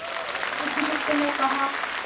बुधगुप्त ने कहा